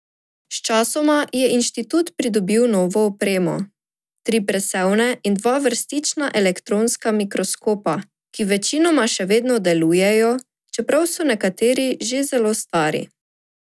Sčasoma je inštitut pridobil novo opremo, tri presevne in dva vrstična elektronska mikroskopa, ki večinoma še vedno delujejo, čeprav so nekateri že zelo stari.